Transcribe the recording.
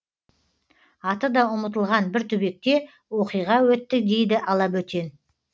аты да ұмытылған бір түбекте оқиға өтті дейді алабөтен